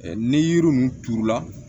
Ni yiri ninnu turula